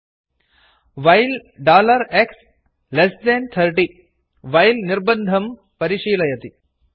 while x30 well dollar x less than thirty while निर्बन्धं परिशीलयति